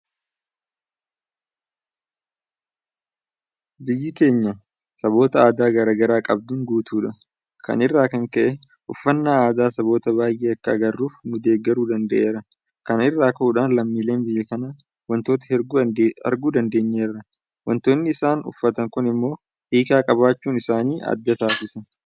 Biyyi keenya saboota aadaa garaa garaa qabduun guutuudha. Kana irraa kan ka'e uffannaa aadaa saboota baay'ee akka agarruuf nudeeggaruu danda'eera. Kana irraa ka'uudhaan lammiileen biyya kanaa waantota hedduu arguu dandeenyeerra. Waantinni isaan uffatan kun immoo hiika qabaachuun isaanii adda taasisa.